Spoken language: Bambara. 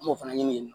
An m'o fana ɲini